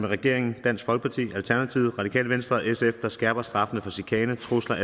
regeringen dansk folkeparti alternativet radikale venstre og sf der skærper straffen for chikane trusler